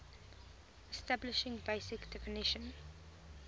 establishing basic definition